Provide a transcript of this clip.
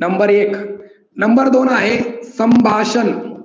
number एक number दोन आहे संभाषण